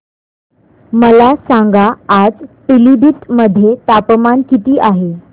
मला सांगा आज पिलीभीत मध्ये तापमान किती आहे